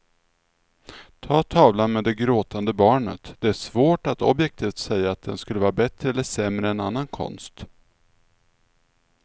Ta tavlan med det gråtande barnet, det är svårt att objektivt säga att den skulle vara bättre eller sämre än annan konst.